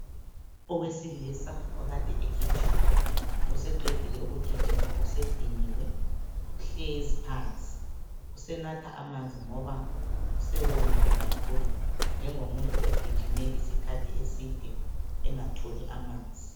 owesilisa okade egijima ,seqedile ukugijima sediniwe ,uhlezi phansi ,usenatha amanzi ngoba usewomile kakhulu njengomuntu ogijime isikhathi eside engatholi amanzi